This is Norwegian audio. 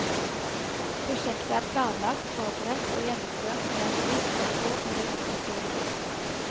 Prosjektet er planlagt, forberedt og gjennomført med et visst ekko i den offentlige debatt.